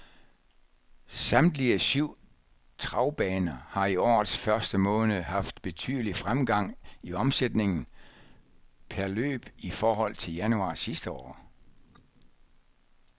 Samtlige syv travbaner har i årets første måned haft betydelig fremgang i omsætningen per løb i forhold til januar sidste år.